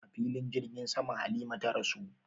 A filin jirgin sama Halima ta rasu